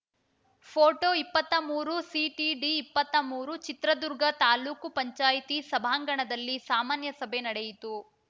photo ಇಪ್ಪತ್ತಾ ಮೂರು CTD ಇಪ್ಪತ್ತಾ ಮೂರು ಚಿತ್ರದುರ್ಗ ತಾಲೂಕು ಪಂಚಾಯ್ತಿ ಸಭಾಂಗಣದಲ್ಲಿ ಸಾಮಾನ್ಯ ಸಭೆ ನಡೆಯಿತು